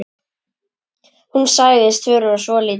Hún sagðist þurfa svo lítið.